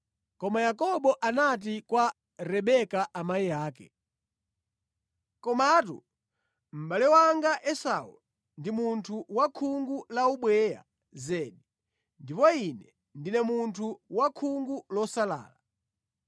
Koma Yakobo anati kwa Rebeka amayi ake, “Komatu mʼbale wanga Esau ndi munthu wa khungu la ubweya zedi, ndipo ine ndine munthu wa khungu losalala.